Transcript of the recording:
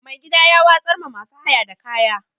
Mai gida ya watsar ma masu haya da kaya.